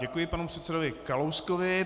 Děkuji panu předsedovi Kalouskovi.